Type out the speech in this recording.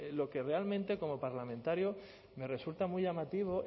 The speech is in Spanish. lo que realmente como parlamentario me resulta muy llamativo